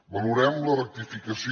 valorem la rectificació